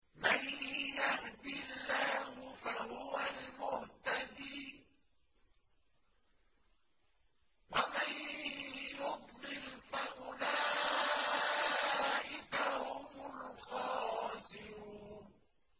مَن يَهْدِ اللَّهُ فَهُوَ الْمُهْتَدِي ۖ وَمَن يُضْلِلْ فَأُولَٰئِكَ هُمُ الْخَاسِرُونَ